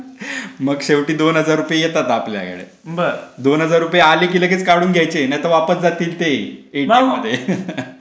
मग शेवटी दोन हजार रुपये येतात आपल्या कडे. दोन हजार रुपये आले की लगेच काढून घ्यायचे. नाही तर वापस जातील ते.ए टी एम मध्ये